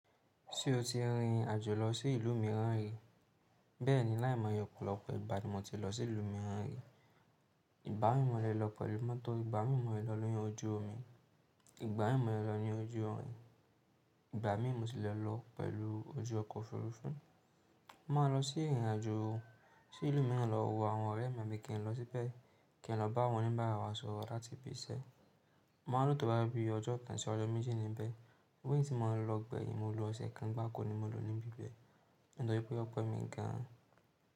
Ṣé o ti rìn àjò lọ sí ìlú mìíràn rí? Bẹ́ẹ̀ni, láìmọ̀ yọ opọ̀ lọ́pọ̀ ìgbà ni mo ti lọ sí ìlú mìíràn rí. Ìgbà mí mọ̀lẹ́ lọ pẹ̀lú mọ́tò, ìgbà mí mọ̀ lọ ní oyún ojú omi, ìgbà mí mọ̀ lọ ní ojú ọrin, ìgbà mí mọ̀ si lè lọ pẹ̀lú ojú ọkọ̀ òfurufú. Mo máa lo sí ìrìn àjò sí ilu míràn lo wo àwon òré mi àbí kí lo síbe ki lo bá àwon oníbàárà wa sòrò láti ibi isé mo máa lò tó bá bí ọjọ́ kan ṣe ọjọ́ méjì ni bẹ́ẹ̀. Bó tí mo lọ gbẹ̀yìn, mo lo ọ̀sẹ̀ kan bá kò ní mo lò níbi bẹ́ẹ̀. Nítorí wípé ọ pe mi gan an.